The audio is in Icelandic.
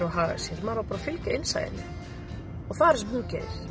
að haga sér maður á bara að fylgja innsæinu og það gerir hún